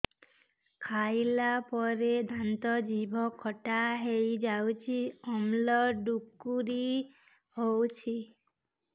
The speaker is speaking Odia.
ଖାଇଲା ପରେ ଦାନ୍ତ ଜିଭ ଖଟା ହେଇଯାଉଛି ଅମ୍ଳ ଡ଼ୁକରି ହଉଛି